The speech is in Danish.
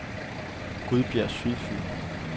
Gudbjerg Sydfyn